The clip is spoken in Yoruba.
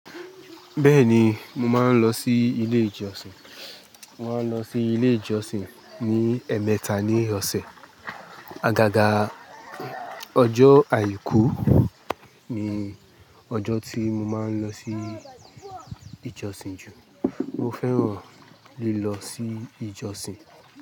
Bẹ́ẹ̀ni, mo máa ń lọ sí ilé ìjọsìn. Mo máa ń lọ sí ilé ìjọsìn ní ẹ̀ẹ̀mẹta ní ọ̀sẹ̀. Agaga ọjọ́ àìkú ni ọjọ́ tí mo máa ń lọ sí ìjọsìn jù. Mo fẹ́ràn lílọ sí ìjọsìn.